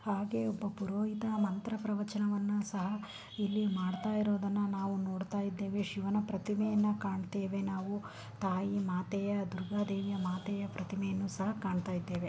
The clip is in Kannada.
ಹಾಗೆ ಇಲ್ಲಿ ಒಬ್ಬ ಪುರೋಹಿತ ಮಂತ್ರ ಪ್ರವಚನ ಮಾಡುತ್ತಿರುವುದನ್ನು ನಾವು ನೋಡ್ತಾ ಇದ್ದೇವೆ ಶಿವನ ಪ್ರತಿಮೆಯನ್ನು ಕಾಣುತ್ತೇವೆ ಮಾತೇ ದುರ್ಗಾದೇವಿಯ ಪ್ರತಿಮೆಯನ್ನು ಸಹ ಕಾಣ್ತಾ ಇದ್ದೇವೆ.